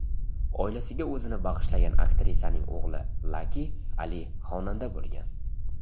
Oilasiga o‘zini bag‘ishlagan aktrisaning o‘g‘li Laki Ali xonanda bo‘lgan.